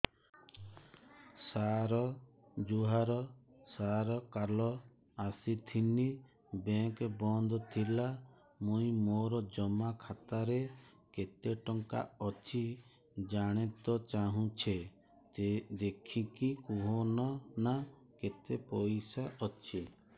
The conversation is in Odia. ସାର ଜୁହାର ସାର କାଲ ଆସିଥିନି ବେଙ୍କ ବନ୍ଦ ଥିଲା ମୁଇଁ ମୋର ଜମା ଖାତାରେ କେତେ ଟଙ୍କା ଅଛି ଜାଣତେ ଚାହୁଁଛେ ଦେଖିକି କହୁନ ନା କେତ ପଇସା ଅଛି